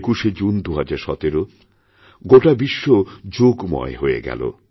২১শে জুন ২০১৭ গোটাবিশ্ব যোগময় হয়ে গেল